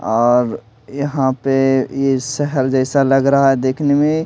और यहां पे ये सहल जैसा लग रहा है देखने में --